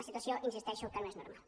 una situació hi insisteixo que no és normal